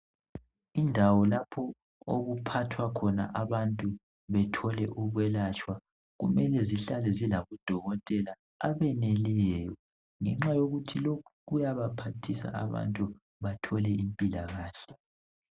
indawo lapho okuphathwa abantu bethole ukwelatshwa kumele zihlale zilabo dokotela abeneleyo ngenxa yokuthi lokhu kuyabaphathisa abantu bathole impilakahle